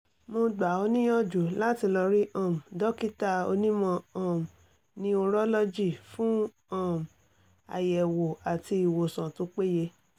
mo gbà ọ́ níyànjú láti lọ rí um dókítà onímọ̀ um niurọ́lọ́jì fún um àyẹ̀wò àti ìwòsàn tó péye